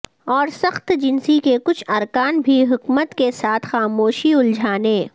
اور سخت جنسی کے کچھ ارکان بھی حکمت کے ساتھ خاموشی الجھانے